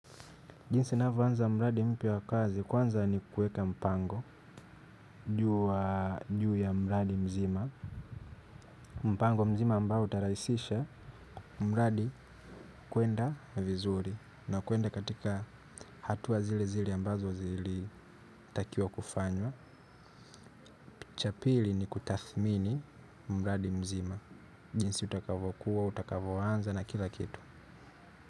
Jinsi navyoanza mradi mpya wa kazi kwanza ni kuweka mpango juu ya mradi mzima. Mpango mzima ambayo utarahisisha mradi kwenda vizuri na kwenda katika hatua zile zile ambazo zilitakiwa kufanywa cha pili ni kutathmini mradi mzima jinsi utakavyokuwa utakavyoanza na kila kitu.